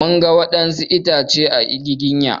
Mun ga waɗansu goro a itacen giginya.